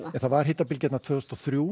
það var hitabylgja tvö þúsund og þrjú